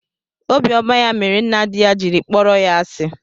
Obiọma ya mere nna di ya jiri kpọrọ ya asi